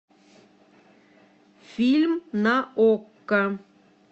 фильм на окко